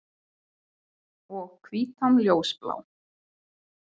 Og hvítan ljósblá.